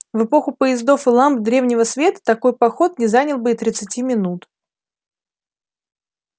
в эпоху поездов и ламп дневного света такой поход не занял бы и тридцати минут